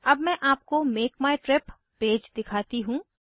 अब मैं आपको मेक माय ट्रिप पेज दिखाती हूँ